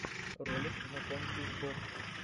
ролик знакомьтесь боб